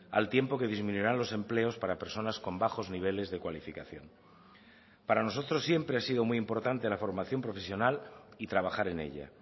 al tiempo que disminuirán los empleos para personas con bajos niveles de cualificación para nosotros siempre ha sido muy importante la formación profesional y trabajar en ella